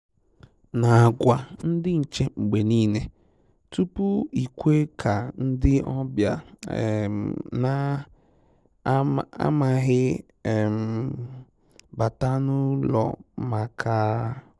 Nà-ágwà ndị́ nchè mgbe nìile, tupu ị́ kwè kà ndị́ ọ́bị̀à à um na-àmághị̀ um bàtá n’ụ́lọ̀ màkà.